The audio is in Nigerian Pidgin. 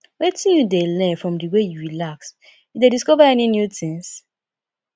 wetin you dey learn from di way you relax you dey discover any new tings